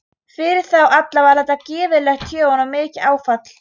Fyrir þá alla var þetta gífurlegt tjón og mikið áfall.